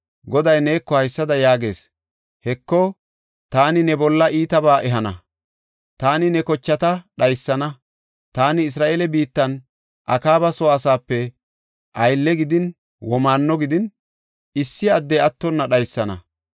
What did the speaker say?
Goday neeko haysada yaagees; ‘Heko, taani ne bolla iitabaa ehana. Taani ne kochata dhaysana; taani Isra7eele biittan Akaaba soo asaape aylle gidin womaanno gidin, issi addey attonna dhaysana.